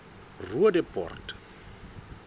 roodepoort